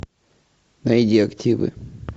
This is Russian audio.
найди активы